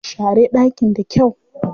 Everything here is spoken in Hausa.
Share ɗakin da kyau.